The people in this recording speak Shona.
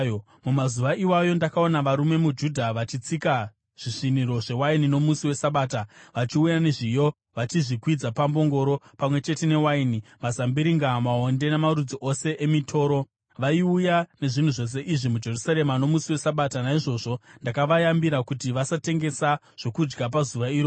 Mumazuva iwayo ndakaona varume muJudha vachitsika zvisviniro zvewaini nomusi weSabata vachiuya nezviyo vachizvikwidza pambongoro, pamwe chete newaini, mazambiringa, maonde namarudzi ose emitoro. Vaiuya nezvinhu zvose izvi muJerusarema nomusi weSabata. Naizvozvo ndakavayambira kuti vasatengesa zvokudya pazuva iroro.